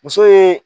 Muso ye